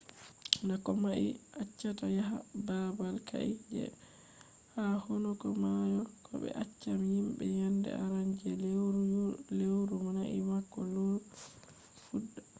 na komai be accata yaha babal ka’e je ha hunduko mayo bo be accan jimbe yende arande je leuru leuru nai bako leuru fudda